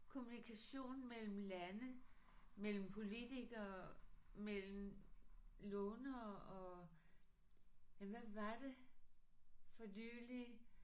Kommunikation mellem lande mellem politikere mellem lånere og ja hvad var det for nylig